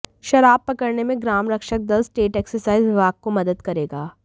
शराब पकड़ने में ग्राम रक्षक दल स्टेट एक्साइज विभाग को मदद करेगा